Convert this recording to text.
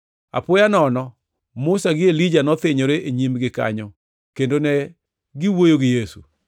Apoya nono Musa gi Elija nothinyore e nyimgi kanyo kendo ne giwuoyo gi Yesu.